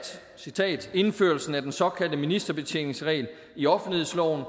indførelsen af den såkaldte ministerbetjeningsregel i offentlighedsloven